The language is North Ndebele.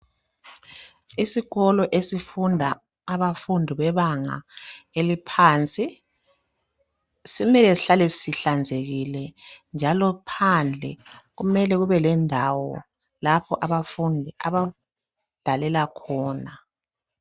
Isikolo esifunda abafundi bebanga eliphansi, simele sihlale sihlanzekile, njalo phandle, kumele kube lendawo, lapho abafundi, abadlalela khona.